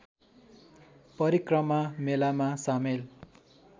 परिक्रमा मेलामा सामेल